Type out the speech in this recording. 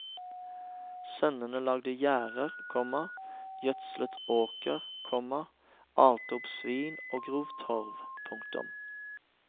Sønnene lagde gjerder, komma gjødslet åkrer, komma alte opp svin og grov torv. punktum